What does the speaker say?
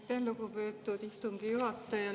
Aitäh, lugupeetud istungi juhataja!